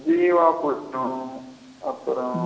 ஜீவா புஸ்பம் அப்புறம்.